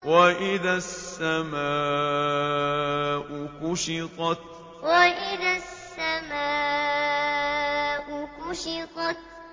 وَإِذَا السَّمَاءُ كُشِطَتْ وَإِذَا السَّمَاءُ كُشِطَتْ